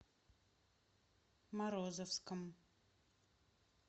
морозовском